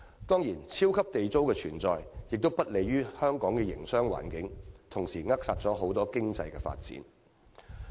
當然，"超級地租"的存在亦不利於本港的營商環境，同時扼殺多元經濟的發展。